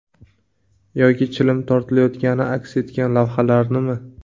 Yoki chilim tortilayotgani aks etgan lavhalarnimi?